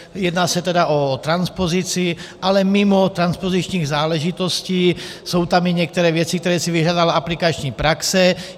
Jedná se tedy o transpozici, ale mimo transpozičních záležitostí jsou tam i některé věci, které si vyžádala aplikační praxe.